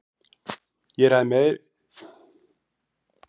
Ég ræði meira um leikmenn.